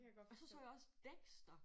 Og så så jeg også Dexter